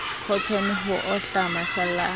khotone ho ohla masalla a